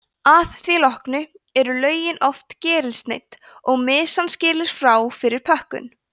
að því loknu er lögunin oft gerilsneydd og mysan skilin frá fyrir pökkun